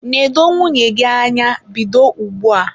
nedo nwunye gị anya bido ugbua!